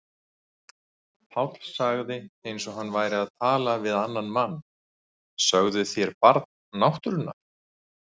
Páll sagði eins og hann væri að tala við annan mann: Sögðuð þér Barn náttúrunnar?